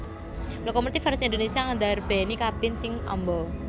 Lokomotif vèrsi Indonésia ndarbèni kabin sing amba